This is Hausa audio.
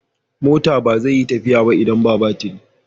Mota ba zai yi tafiya ba idan ba batiri.